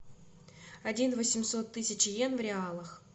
один восемьсот тысяч йен в реалах